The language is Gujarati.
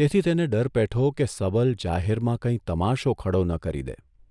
તેથી તેને ડર પેઠો કે સબલ જાહેરમાં કંઇ તમાશો ખડો ન કરી દે !